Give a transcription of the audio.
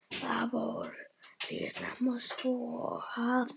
Það fór því snemma svo, að